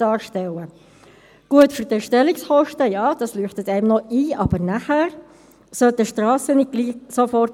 Die Umstellung auf HRM2 hätte ja eigentlich bereits zwei Jahre früher stattfinden sollen.